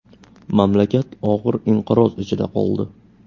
Mamlakat og‘ir inqiroz ichida qoldi.